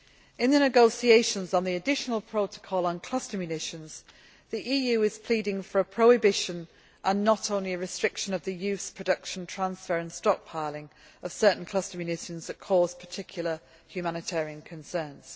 In the negotiations on the additional protocol on cluster munitions, the EU is pleading for a prohibition and not only a restriction of the use, production, transfer and stockpiling of certain cluster munitions that cause particular humanitarian concerns.